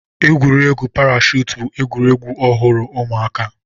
Egwuregwu parashutu bụ egwuregwu ọhụrụ ụmụaka.